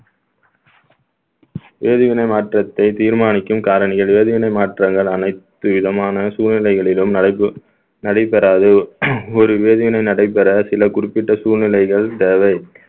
வேதிவினை மாற்றத்தை தீர்மானிக்கும் காரணிகள் வேதிவினை மாற்றங்கள் அனைத்து விதமான சூழ்நிலைகளிலும் நடைபெ~ நடைபெறாது ஒரு வேதிவினை நடைபெற சில குறிப்பிட்ட சூழ்நிலைகள் தேவை